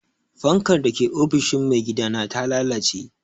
Fankar da ke ofishin maigidana ta lalace.